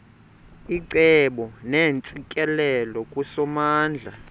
icebo neentsikelelo kusomandla